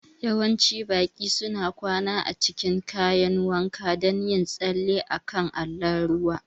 Yawancin baƙi suna kwana a cikin kayan wanka don yin tsalle a kan allon ruwa